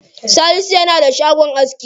Salisu yana da shagon aski.